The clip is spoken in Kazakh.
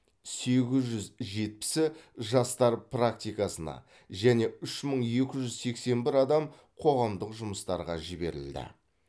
сегіз жүз жетпісі жастар практикасына және үш мың екі жүз сексен бір адам қоғамдық жұмыстарға жіберілді